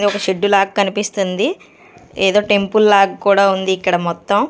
ఇది ఒక షెడ్ లాగా కనిపిస్తుంది ఏదో టెంపుల్ లాగా కూడా ఉంది ఇక్కడ మొత్తం.